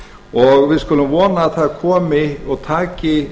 og við skulum vona að það komi og taki